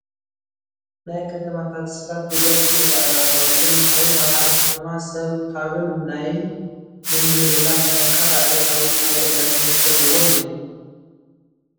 ናይ ከተማ ታክሲታት ብብዝሒ ይርአያ ኣለዋ፡፡ እዘን መኻይን ኣብ ሓደ ከተማ ሰብ ካብን ናይን ንምምልላላስ ጠንካራ ዕለታዊ ኣገዳስነት ዘለወን እየን፡፡